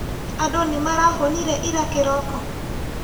Andũ nĩmarahũnire ira kĩroko?